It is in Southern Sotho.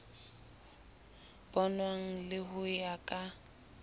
bonwang le ho ya ka